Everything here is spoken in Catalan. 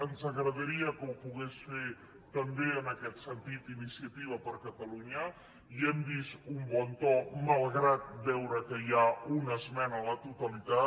ens agradaria que ho pogués fer també en aquest sentit iniciativa per catalunya hi hem vist un bon to malgrat veure que hi ha una esmena a la totalitat